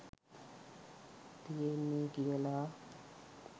තියෙන්නෙ කියල.